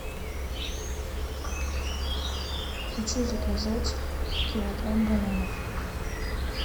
хочу заказать килограмм бананов